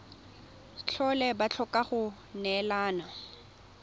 tlhole ba tlhoka go neelana